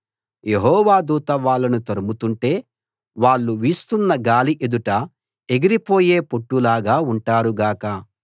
యెహోవా దూత వాళ్ళను తరుముతుంటే వాళ్ళు వీస్తున్న గాలి ఎదుట ఎగిరిపోయే పొట్టులాగా ఉంటారు గాక